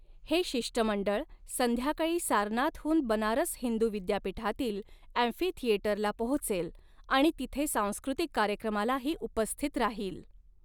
हे शिष्टमंडळ संध्याकाळी सारनाथहून बनारस हिंदू विद्यापीठातील अँफीथिएटरला पोहोचेल आणि तिथे सांस्कृतिक कार्यक्रमालाही उपस्थित राहील.